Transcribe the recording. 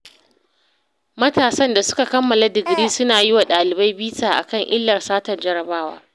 Matasan da suka kammala digiri suna yi wa ɗalibai bita a kan illar satar jarrabawa.